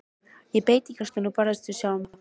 Ég beit á jaxlinn og barðist við sjálfa mig.